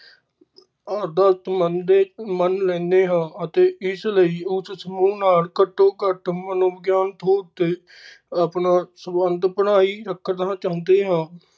ਆਦਤ ਮੰਨਦੇ ਮੰਨ ਲੈਨੇ ਹਾਂ ਅਤੇ ਇਸ ਲਈ ਉਸ ਸਮੂਹ ਨਾਲ ਘੱਟੋ-ਘੱਟ ਮਨੋਵਿਗਿਆਨ ਤੌਰ ਤੇ ਆਪਣਾ ਸੰਬੰਧ ਬਣਾਈ ਰੱਖਣਾ ਚਾਹੁੰਦੇ ਹਾ।